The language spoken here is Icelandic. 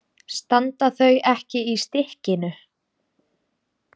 Standa þau ekki í stykkinu?